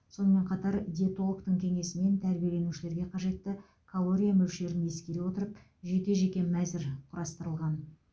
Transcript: сонымен қатар диетологтың кеңесімен тәрбиеленушілерге қажетті калория мөлшерін ескере отырып жеке жеке мәзір құрастырылған